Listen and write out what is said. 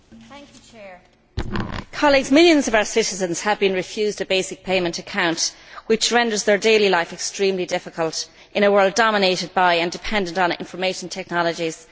Mr President, millions of our citizens have been refused a basic payment account, which renders their daily life extremely difficult in a world dominated by and dependent on information technologies.